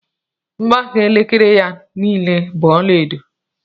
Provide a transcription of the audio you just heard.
Mgbaaka elekere ya niile bú ọlaedo